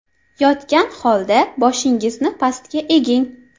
Yotgan holda boshingizni pastga eging.